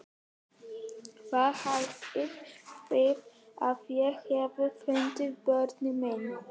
Hvað haldið þið að ég hafi fundið börnin mín?